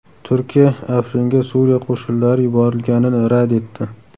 Turkiya Afringa Suriya qo‘shinlari yuborilganini rad etdi.